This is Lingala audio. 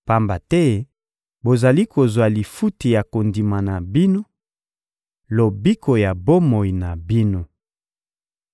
pamba te bozali kozwa lifuti ya kondima na bino: lobiko ya bomoi na bino.